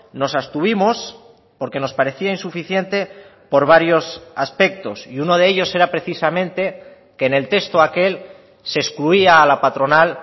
nos abstuvimos porque nos parecía insuficiente por varios aspectos y uno de ellos era precisamente que en el texto aquel se excluía a la patronal